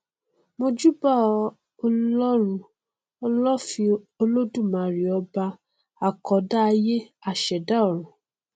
mojúbà ọlọrun ọlọ́fin olódùmarè ọba àkọdá ayé aṣẹdá ọrun